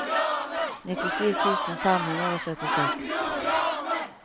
nittisju tusen fem hundre og syttiseks